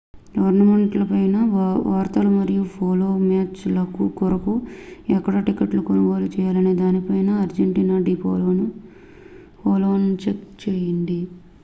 tournament లపై వార్తలు మరియు పోలో మ్యాచ్ ల కొరకు ఎక్కడ టిక్కెట్లు కొనుగోలు చేయాలనే దానిపై అర్జెంటీనా డి పోలోను చెక్ చేయండి